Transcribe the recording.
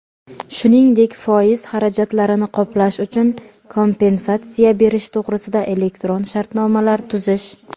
shuningdek foiz xarajatlarini qoplash uchun kompensatsiya berish to‘g‘risida elektron shartnomalar tuzish;.